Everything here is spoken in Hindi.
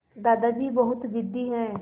दादाजी बहुत ज़िद्दी हैं